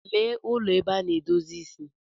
Lee ụlọ ebe ana-edozi isi.